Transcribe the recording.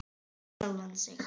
Finna sjálfa sig.